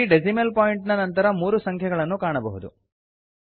ಇಲ್ಲಿ decimal point ನ ನಂತರ ಮೂರು ಸಂಖ್ಯೆಗಳನ್ನು ಕಾಣಬಹುದು